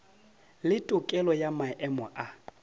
le tokelo ya maemo a